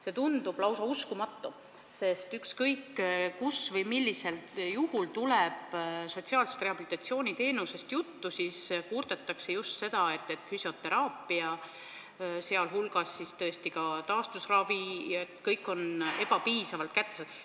See tundub lausa uskumatu, sest ükskõik kus või millisel juhul tuleb sotsiaalse rehabilitatsiooni teenusest juttu, siis kurdetakse just seda, et füsioteraapia, sh taastusravi, on ebapiisavalt kättesaadav.